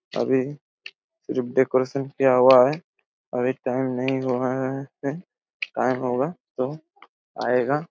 अभी जो डेकोरेशन किया हुआ हैं अभी टाइम नहीं हुआ हैं यहां पे टाइम होगा तो आएगा।